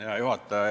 Hea juhataja!